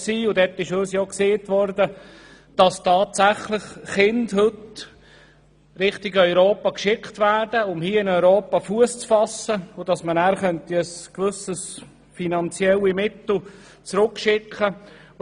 Dort wurde uns auch gesagt, dass heute tatsächlich Kinder Richtung Europa geschickt werden, um hier Fuss zu fassen, damit sie gewisse finanzielle Mittel zurückschicken können.